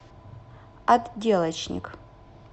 отделочник